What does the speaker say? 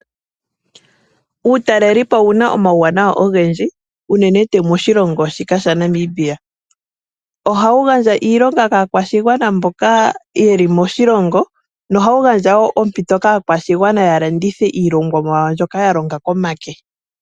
Uutalelipo owuna omawuwanawa ogendji unene tuu moshilongo shika sha Namibia, ohawu gandja iilomga kaakwashigwana mbokaye li moshilongo. No hawu gandja wo oompito kaakwashigwana ya landithe iilongomwa yawo mbyoka yalonga komake.